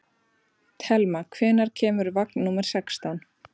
Thelma, hvenær kemur vagn númer sextán?